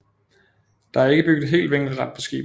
Det er ikke bygget helt vinkelret på skibet